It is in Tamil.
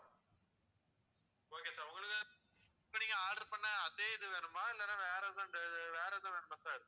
okay sir உங்களுது இப்போ நீங்க order பண்ண அதே இது வேணுமா இல்லன்னா வேறதுன்னு வேறது வேணுமா sir